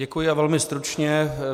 Děkuji a velmi stručně.